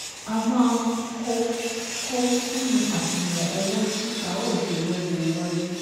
A máa ko ko sínú àṣùwọ̀n owó tí a óò ṣe lọ́jọ́ iwájú